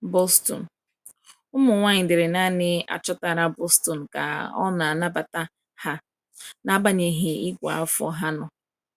Boston: Ụmụ nwanyị dịrị naanị achọtara Boston ka ọ na-anabata ha, n’agbanyeghị ìgwè afọ ha nọ.